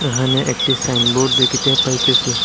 এহানে একটি সাইনবোর্ড দেখিতে পাইতেসি।